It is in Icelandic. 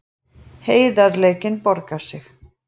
Heiðarleikinn borgaði sig